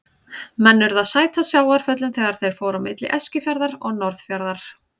Menn urðu að sæta sjávarföllum þegar þeir fóru á milli Eskifjarðar og Norðfjarðar.